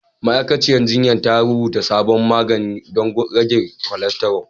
Ma'aikaciyar jinya ta rubuta sabon magani don rage kolesterol.